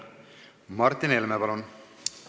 Martin Helme, palun!